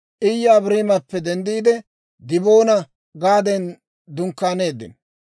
Iye Abaarimappe denddiide, Diboona-Gaadan dunkkaaneeddino.